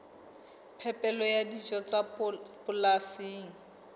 phepelo ya dijo tsa polasing